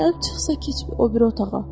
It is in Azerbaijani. Gəlib çıxsa keç o biri otağa.